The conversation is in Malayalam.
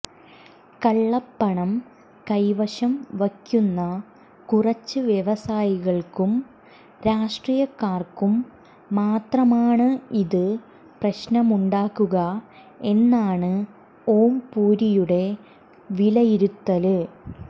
കള്ളപ്പണം കൈവശം വയ്ക്കുന്ന കുറച്ച് വ്യവസായികള്ക്കും രാഷ്ട്രീയക്കാര്ക്കും മാത്രമാണ് ഇത് പ്രശ്നമുണ്ടാക്കുക എന്നാണ് ഓംപുരിയുടെ വിലയിരുത്തല്